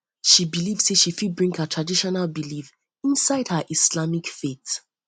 she believe sey she fit bring her traditional belief inside her islamic faith